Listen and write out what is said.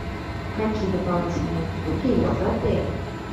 какие дополнительные услуги есть в отеле